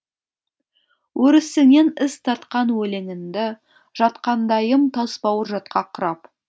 өрісіңнен із тартқан өлеңімді жатқандайым тасбауыр жатқа құрап